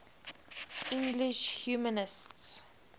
english humanists